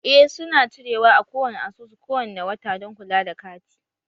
Eh su na cire wa a kowani asusu kowane wata don kula da kati